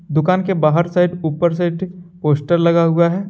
दुकान के बाहर साइड ऊपर साइड पोस्टर लगा हुआ है।